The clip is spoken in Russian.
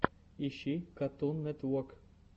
ищи катун нетвок